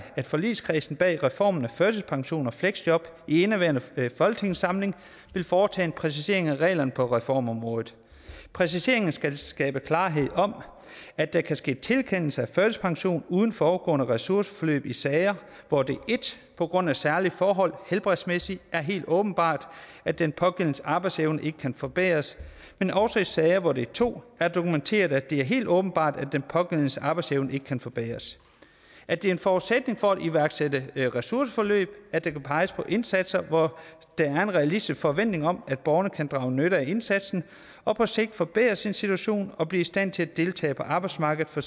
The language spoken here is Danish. at forligskredsen bag reformen af førtidspension og fleksjob i indeværende folketingssamling vil foretage en præcisering af reglerne på reformområdet præciseringerne skal skabe klarhed om at der kan ske tilkendelse af førtidspension uden forudgående ressourceforløb i sager hvor det 1 på grund af særlige forhold er helt åbenbart at den pågældendes arbejdsevne ikke kan forbedres men også i sager hvor det 2 er dokumenteret at det er helt åbenbart at den pågældendes arbejdsevne ikke kan forbedres at det er en forudsætning for at iværksætte ressourceforløb at der kan peges på indsatser hvor der er en realistisk forventning om at borgeren kan drage nytte af indsatsen og på sigt forbedre sin situation og blive i stand til at deltage på arbejdsmarkedet for